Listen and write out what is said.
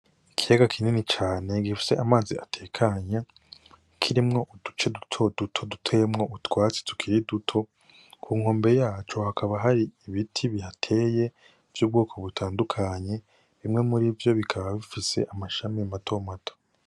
Ikiyaga kinini cane gifise amazi atekanye , kirimwo uduce dutoduto duteyemwo utwatsi tukiri duto , k'unkombe yaco hakaba har'ibiti bihateye vy'ubwoko butandukanye bimwe muri vyo bikaba bifise amashami mato mato.